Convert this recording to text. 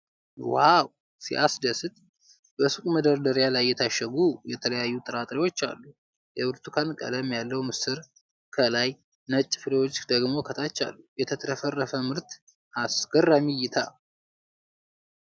ዋው ሲያስደስት ! በሱቅ መደርደሪያ ላይ የታሸጉ የተለያዩ ጥራጥሬዎች አሉ ። የብርቱካን ቀለም ያለው ምስር ከላይ፣ ነጭ ፍሬዎች ደግሞ ከታች አሉ ። የተትረፈረፈ ምርት አስገራሚ እይታ!